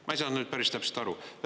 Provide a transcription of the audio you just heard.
Ma ei saanud päris täpselt aru.